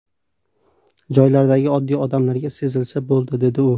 Joylardagi oddiy odamlarga sezilsa bo‘ldi”, dedi u.